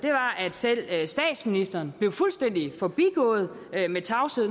selv statsministeren blev fuldstændig forbigået i tavshed